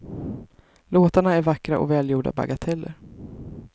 Låtarna är vackra och välgjorda bagateller.